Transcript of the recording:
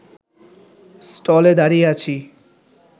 স্টলে দাঁড়িয়ে আছি